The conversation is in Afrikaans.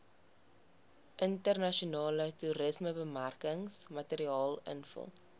internasionale toerismebemarkingsmateriaal invul